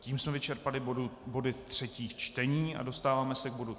Tím jsme vyčerpali body třetích čtení a dostáváme se k bodu